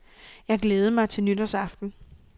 Jeg glædede mig til nytårsaften.